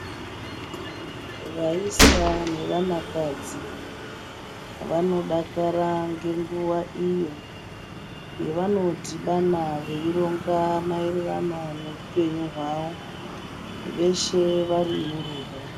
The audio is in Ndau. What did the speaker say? Vayisa nevanakadzi vanodakara ngenguwa iyo, yevanodhibana veironga maererano neupenyu hwawo veshe vari murudo.